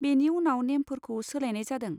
बेनि उनाव नेमफोरखौ सोलायनाय जादों।